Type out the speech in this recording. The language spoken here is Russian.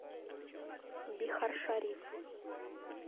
бихаршариф